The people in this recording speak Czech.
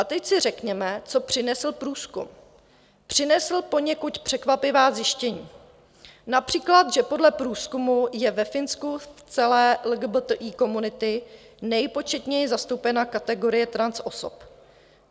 A teď si řekněme, co přinesl průzkum - přinesl poněkud překvapivá zjištění, například že podle průzkumu je ve Finsku v celé LGBTI komunitě nejpočetněji zastoupena kategorie transosob.